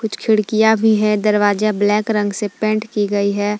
कुछ खिड़कियां भी हैं दरवाजा ब्लैक रंग से पेंट की गई है।